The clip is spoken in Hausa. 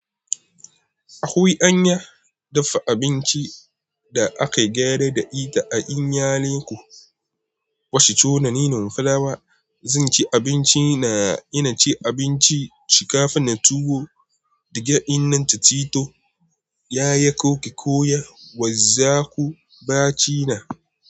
Akwai anya dafa abinci da aka gyara da ita a iyalinku. Wash chona nina fulawa, zinci abinci na ina ci abinci, shikafa na tuwo, dige ina ta chito, yaya koki koya wazzaku ba China.